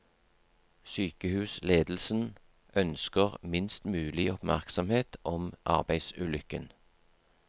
Sykehusledelsen ønsker minst mulig oppmerksomhet om arbeidsulykken.